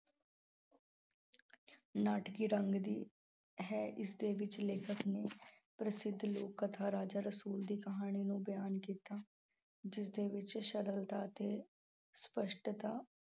ਨਾਟਕੀ ਰੰਗ ਦੀ ਹੈ। ਇਸਦੇ ਵਿੱਚ ਲੇਖਕ ਨੂੰ ਪ੍ਰਸਿੱਧ ਲੋਕ ਕਥਾ ਰਾਜਾ ਰਸੂਲ ਦੀ ਕਹਾਣੀ ਨੂੰ ਬਿਆਨ ਕੀਤਾ। ਜਿਸਦੇ ਵਿੱਚ ਸਰਲਤਾ ਤੇ ਸਪੱਸ਼ਟਤਾ